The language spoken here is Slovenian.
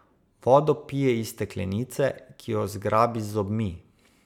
Vodo pije iz steklenice, ki jo zgrabi z zobmi.